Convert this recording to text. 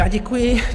Já děkuji.